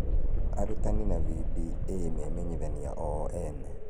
Arutani na VBA memenyithania o ene.